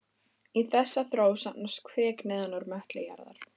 Í þessa þró safnast kvika neðan úr möttli jarðar.